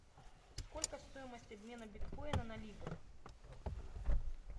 сколько стоимость обмена биткоина на ливр